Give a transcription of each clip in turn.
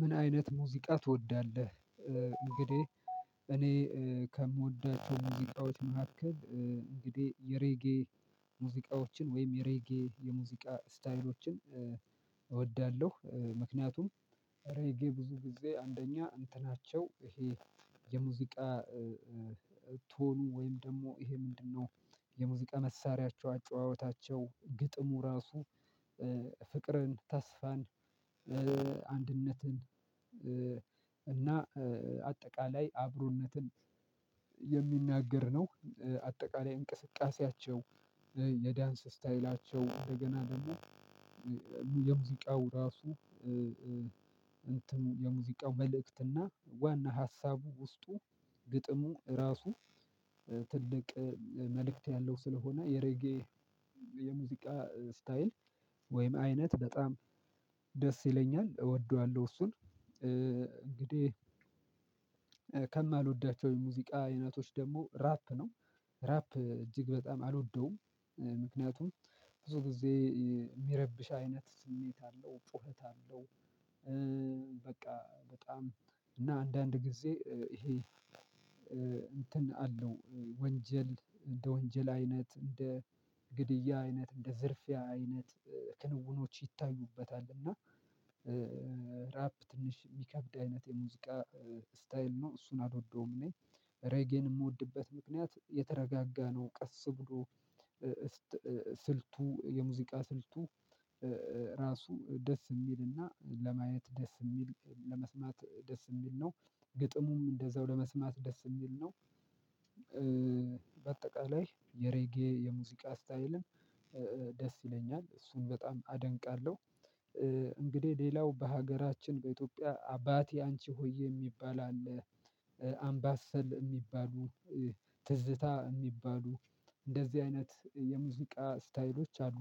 ምን አይነት ሙዚቃ ትወዳለህ? እንግዲህ እኔ ከምወዳቸው ሙዚቃዎች መካከል እንግዲህ የሬጌ ሙዚቃዎችን ወይም የሬጌ የሙዚቃ ስታይሎችን እወዳለሁ። ምክንያቱም እሬጌ ብዙ ጊዜ አንደኛ እንትናቸው ይሄ የሙዚቃ ቶኑ ወይም ደግሞ ይሄ ምንድነው? የሙዚቃ መሳሪያቸው አጨዋወታቸው ግጥሙ ራሱ ፍቅርን ተስፋን አንድነትን እና አጠቃላይ አብሮነትን የሚናገር ነው። አጠቃላይ እንቅስቃሴያቸው የዳንስ ስታይላቸው እንደገና ደግሞ የሙዚቃው ራሱ እንትን የሙዚቃው መልእክትና ዋና ሀሳቡ ውስጡ ግጥሙ ራሱ። ትልቅ መልእክት ያለው ስለሆነ የሬጌ የሙዚቃ ስታይል ወይም አይነት በጣም ደስ ይለኛል እወደዋለሁ እሱን። እንግዲህ ከማልወዳቸው የሙዚቃ አይነቶች ደግሞ ራፕ ነው። ራፕ እጅግ በጣም አልወደውም ምክንያቱም ብዙ ጊዜ የሚረብሽ አይነት ስሜት አለው ጩኸት አለው። በቃ በጣም እና አንዳንድ ጊዜ ይሄ እንትን አለው ወንጀል እንደ ወንጀል አይነት እንደ ግድያ አይነት እንደ ዝርፊያ አይነት ክንውኖች ይታዩበታል። እና ራፕ ትንሽ የሚከብድ አይነት የሙዚቃ ስታይል ነው እሱን አልወደውም። እኔ ሬጌን የምወድበት ምክንያት የተረጋጋ ነው። ቀስ ብሎ ስልቱ የሙዚቃ ስልቱ ራሱ ደስ የሚልና ለማየት ደስ የሚል ለመስማት ደስ የሚል ነው። ግጥሙም እንደዛው ለመስማት ደስ የሚል ነው። በአጠቃላይ የሬጌ የሙዚቃ ስታይልን ደስ ይለኛል እሱን በጣም አደንቃለሁ። እንግዲህ ሌላው በሀገራችን በኢትዮጵያ አባቴ አንቺ ሆዬ የሚባል አለ። አምባሰል የሚባሉ ትዝታ የሚባሉ እንደዚህ አይነት የሙዚቃ ስታይሎች አሉ።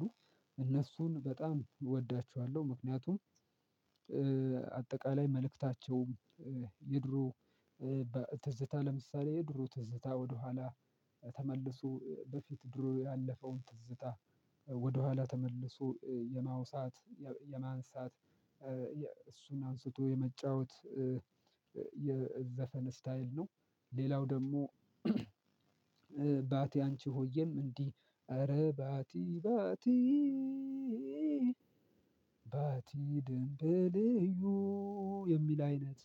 እነሱን በጣም እወዳቸዋለሁ ምክንያቱም አጠቃላይ መልእክታቸውም የድሮ ትዝታ ለምሳሌ የድሮ ትዝታ ወደኋላ ተመልሶ በፊት ድሮ ያለፈውን ትዝታ ወደኋላ ተመልሶ የማውሳት የማንሳት እሱን አንስቶ የመጫወት የዘፈን ስታይል ነው። ሌላው ደግሞ ባቲ አንቺ ሆዬም እንዲህ ኧረ ባቲ ባቲ ባቲ ደንበልዩ የሚል አይነት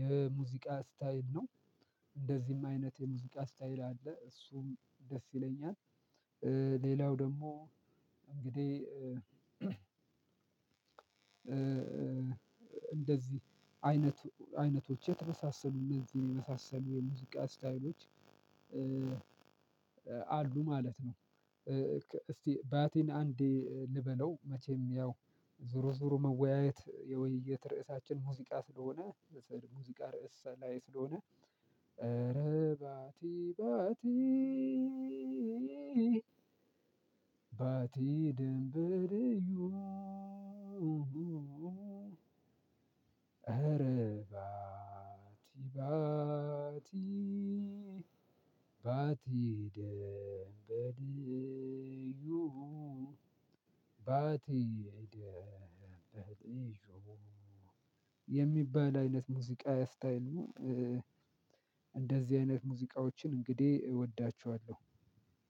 የሙዚቃ ስታይል ነው። እንደዚህም አይነት የሙዚቃ ስታይል አለ እሱም ደስ ይለኛል። ሌላው ደግሞ እንግዲህ እንደዚህ አይነት አይነቶች የተበሳሰሉ እነዚህን የመሳሰሉ የሙዚቃ ስታይሎች አሉ ማለት ነው። እስቲ ባቲን አንዴ ልበለው መቼም ያው ዙሮ ዙሮ መወያየት የውይይት ርዕሳችን ሙዚቃ ስለሆነ ሙዚቃ ርዕስ ላይ ስለሆነ ኧረ ባቲ ባቲ ባቲ ድንበርዩ ኧረ ባቲ ባቲ ባቲ ደንበልዩ ባቲ ደንበልዩ የሚባል አይነት ሙዚቃዊ ስታይሉን እንደዚህ አይነት ሙዚቃዎችን እንግዲህ እወዳችኋለሁ።